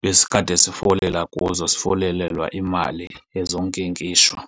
besikade sifolela kuzo sifolelela imali ezonkinkishwa.